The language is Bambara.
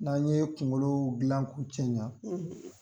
N'an ye kunkolo gilan ku cɛɲan;